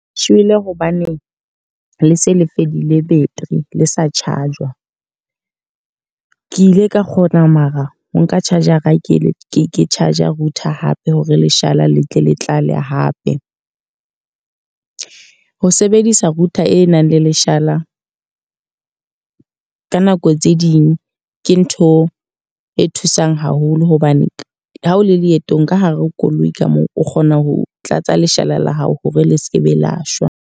Shwele hobaneng le se le fedile battery le sa charge-wa. Ke ile ka kgona mara ha nka charger-a ke charger router hape, hore leshala le tle le tlale hape. Ho sebedisa router e nang le leshala ka nako tse ding ke ntho e thusang haholo hobane ha o le leetong ka hare ho koloi ka moo, o kgona ho tlatsa leshala la hao hore le sekebe la shwa.